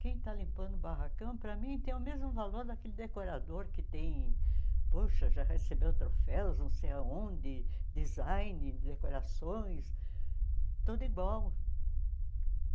Quem está limpando o barracão, para mim, tem o mesmo valor daquele decorador que tem, poxa, já recebeu troféus, não sei aonde, design, decorações, tudo igual.